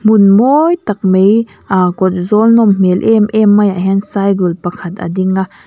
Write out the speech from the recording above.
hmun mawi tak mai aa kawl zawl nawm hmel em-em maiah hian cycle pakhat a ding a.